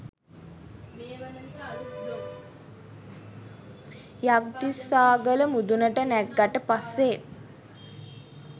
යක්දිස්සාගල මුදුනට නැග්ගට පස්සේ